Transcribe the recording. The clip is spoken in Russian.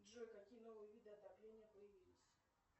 джой какие новые виды отопления появились